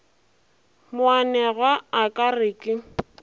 moanegwa a ka re ke